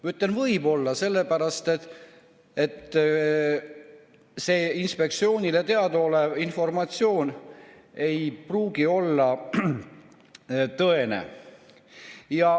Ma ütlen "võib-olla" sellepärast, et see inspektsioonile teadaolev informatsioon ei pruugi olla tõene.